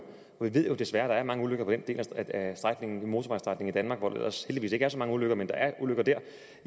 og vi ved desværre at der er mange ulykker på den del af strækningen en motorvejsstrækning i danmark hvor der ellers heldigvis ikke er så mange ulykker men der er ulykker dér